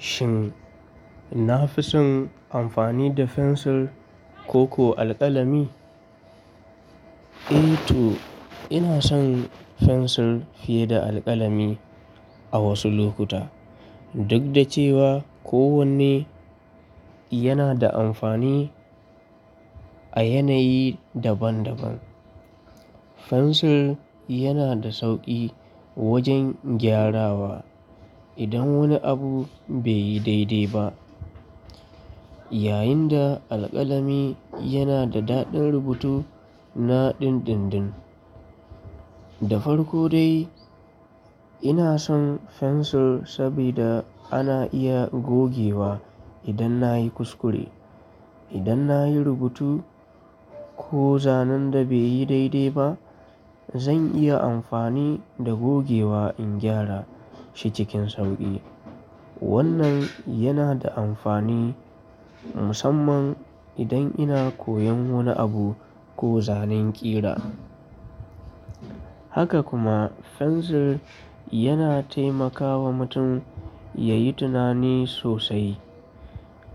Shin na fi son amfani da fensir koko alkalami? Eh to, ina son fensir fiye da alkalami a wasu lokuta. Duk da cewa kowanne yana da amfani a yanayi daban-daban. Fensir yana da sauƙi wajen gyarawa idan wani abu bai yi daidai ba, yayin da alkalami yana da daɗin rubutu na dindindin. Da farko dai, ina son fensir saboda ana iya gogewa idan na yi kuskure. Idan na yi rubutu ko zanen da bai yi daidai ba, zan iya amfani da gogewa in gyara shi cikin sauƙi. Wannan yana da amfani musamman idan ina koyon wani abu ko zanen ƙira. Haka kuma fensir yana taimakawa mutum ya yi tunani sosai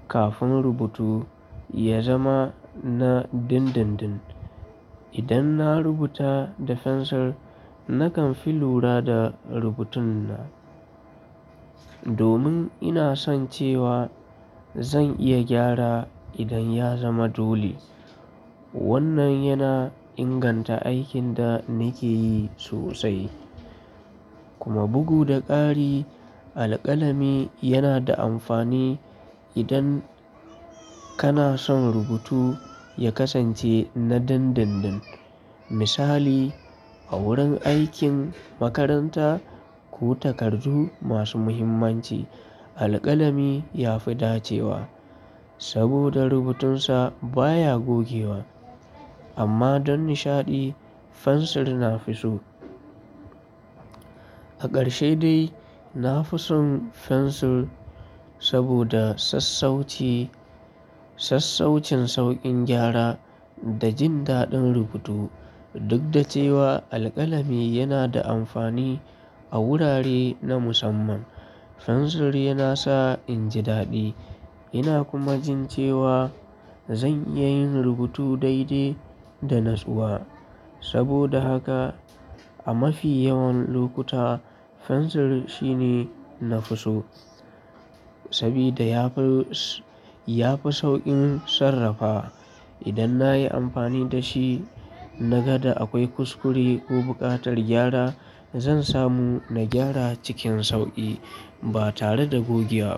kafin rubutu ya zama na dindindin. Idan na rubuta da fensir, nakan fi lura da rubutun na, domin ina son cewa zan iya gyara idan ya zama dole. Wannan yana inganta aikin da nake yi sosai. Kuma bugu da ƙari, alkalami yana da amfani idan kana son rubutu ya kasance na dindindin. Misali, a wurin aikin makaranta ko takardu masu muhimmanci, alkalami ya fi dacewa saboda rubutunsa baya gogewa. Amma don nishaɗi, fensir na fi so. A ƙarshe dai, na fi son fensir saboda sassauci, sassaucin sauƙin gyara da jin daɗin rubutu. Duk da cewa alkalami yana da amfani a wurare na musamman, fensir yana sa in ji daɗi ina kuma jin cewa zan iya yin rubutu daidai da natsuwa. Saboda haka a mafi yawan lokuta fensir shine na fi so saboda ya fi, ya fi sauƙin sarrafa. Idan na yi amfani da shi na ga da akwai kuskure ko buƙatar gyara, zan samu na gyara cikin sauƙi ba tare da gogewa ba.